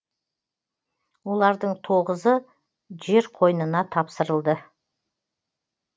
олардың тоғызы жер қойнына тапсырылды